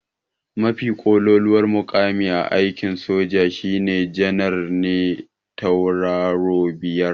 Mafi ƙololuwar muƙami a aikin soja shine janar me tauraro biyar.